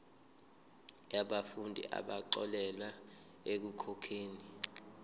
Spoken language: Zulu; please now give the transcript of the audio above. yabafundi abaxolelwa ekukhokheni